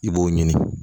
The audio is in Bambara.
I b'o ɲini